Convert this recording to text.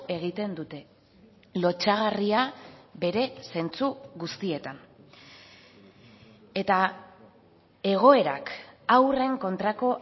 egiten dute lotsagarria bere zentzu guztietan eta egoerak haurren kontrako